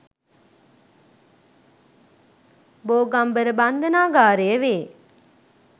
බෝගම්බර බන්ධනාගාරය වේ.